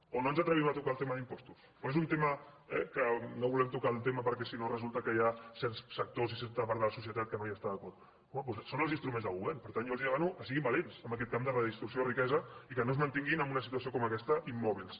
o no ens atrevim a tocar el tema d’impostos o és un tema eh que no el volem tocar perquè si no resulta que hi ha certs sectors i certa part de la societat que no hi estan d’acord home doncs són els instruments de govern per tant jo els demano que siguin valents en aquest camp de la redistribució de la riquesa i que no es mantinguin en una situació com aquesta immòbils